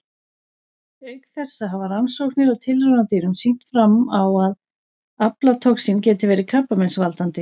Auk þessa hafa rannsóknir á tilraunadýrum sýnt fram á að aflatoxín geti verið krabbameinsvaldandi.